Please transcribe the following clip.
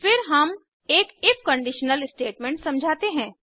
फिर हम एक इफ कंडीशनल स्टेटमेंट समझाते हैं